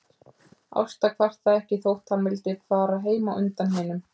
Ásta kvartaði ekki þótt hann vildi fara heim á undan hinum.